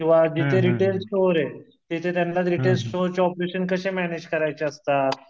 किंवा जिथे retail store ये, तिथे त्यांना रिटेल स्टोर चे ऑपरेशन कसे मॅनेज करायचे असतात?